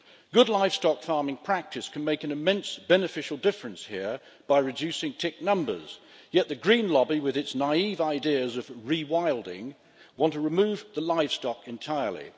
Good livestock farming practices can make an immense beneficial difference here by reducing tick numbers, yet the Green lobby, with its naive ideas of re wilding, want to remove the livestock entirely.